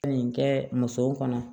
Nin kɛ musow kɔnɔ